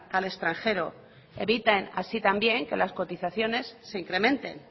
al extranjero evitan así también que las cotizaciones se incrementen